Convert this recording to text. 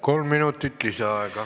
Kolm minutit lisaaega.